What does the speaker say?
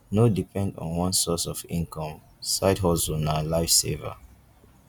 no depend on one source of income side hustle na life saver